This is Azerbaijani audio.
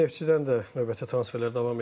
Neftçidən də növbəti transferlər davam edir.